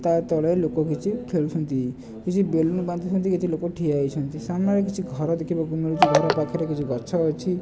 ତା ତଳେ ଲୋକ କିଛି ଖେଳୁଛନ୍ତି କିଛି ବେଲୁନୁ ବନ୍ଦୀ ଛନ୍ତି କିଛି ଲୋକ ଟିଏ ହୋଇ ଛନ୍ତି ସମ୍ମାନ ରେ କିଛି ଘର ଦେଖିବାକୁ ମିଳୁଛି ଘର ପାଖ ରେ କିଛି ଗଛ ଅଛି।